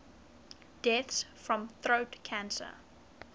deaths from throat cancer